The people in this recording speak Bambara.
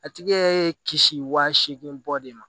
A tigi ye kisi wa seegin bɔ de ma